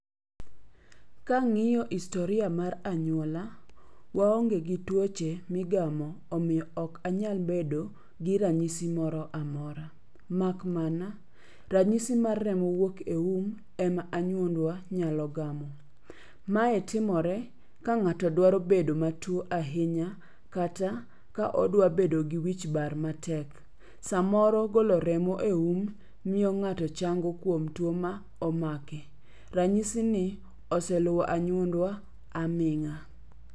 Kang'iyo historia mar anyuola, waonge gi tuoche migamo omiyo ok anyal bedo gi ranyisi moro amora. Mak mana, ranyisi mar remo wuok e um ema anyuondwa nyalo gamo. Mae timore ka ng'ato dwaro bedo matuo ahinya, kata ka odwa bedo gi wich bar matek. Samoro golo remo eum miyo ng'ato chango kuom tuo ma omake. Ranyisi ni oseluwo anyuondwa ahinya.